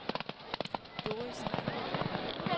Doris Ahmed